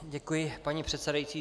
Děkuji, paní předsedající.